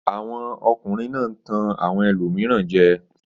Àwọn ọkùnrin náà ń tan àwọn ẹlòmíràn jẹ.